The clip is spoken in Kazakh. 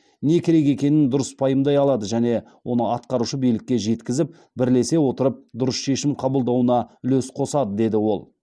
не керек екенін дұрыс пайымдай алады және оны атқарушы билікке жеткізіп бірлесе отырып дұрыс шешім қабылдануына үлес қосады деді ол